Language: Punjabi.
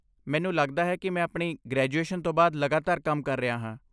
ਮੈਨੂੰ ਲੱਗਦਾ ਹੈ ਕਿ ਮੈਂ ਆਪਣੀ ਗ੍ਰੈਜੂਏਸ਼ਨ ਤੋਂ ਬਾਅਦ ਲਗਾਤਾਰ ਕੰਮ ਕਰ ਰਿਹਾ ਹਾਂ।